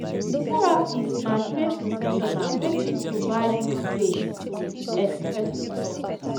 therapist na trained professional wey fit provide you space to fit express your thought